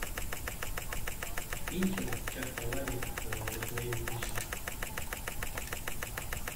финчер чак паланик раздвоение личности